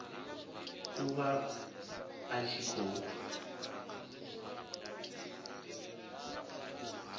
u vha a tshi khou